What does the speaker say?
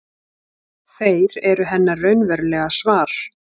Þeir eru hennar raunverulega svar.